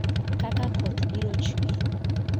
kaka koth biro chue